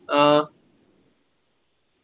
ആ